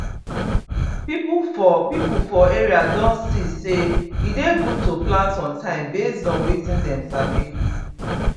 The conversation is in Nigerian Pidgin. people for people for area don see say e dey good to plant on time based on wetin dem sabi